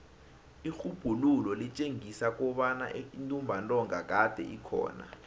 irhubhululo litjengisa kobana intumbantonga kade ikhona